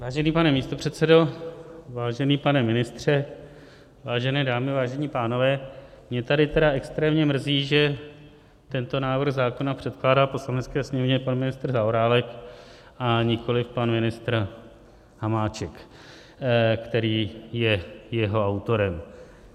Vážený pane místopředsedo, vážený pane ministře, vážené dámy, vážení pánové, mě tady tedy extrémně mrzí, že tento návrh zákona předkládá Poslanecké sněmovně pan ministr Zaorálek a nikoliv pan ministr Hamáček, který je jeho autorem.